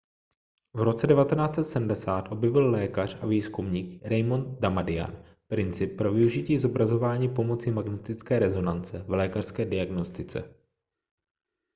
v roce 1970 objevil lékař a výzkumník raymond damadian princip pro využití zobrazování pomocí magnetické rezonance v lékařské diagnostice